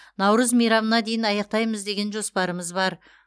наурыз мейрамына дейін аяқтаймыз деген жоспарымыз бар